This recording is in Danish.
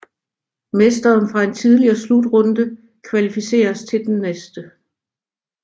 Mesteren fra en tidligere slutrunde kvalificeres til den næste